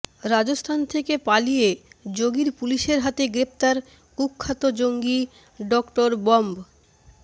রাজস্থান থেকে পালিয়ে যোগীর পুলিশের হাতে গ্রেফতার কুখ্যাত জঙ্গি ডঃ বম্ব